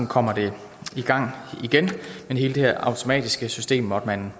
kommer det i gang igen men hele det her automatiske system måtte man